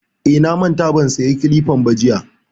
Eh, na manta ban saya kilifan ba jiya